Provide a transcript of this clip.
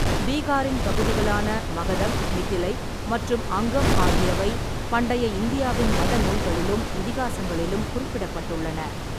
பீகாரின் பகுதிகளான மகதம், மிதிலை மற்றும் அங்கம் ஆகியவை பண்டைய இந்தியாவின் மத நூல்களிலும் இதிகாசங்களிலும் குறிப்பிடப்பட்டுள்ளன.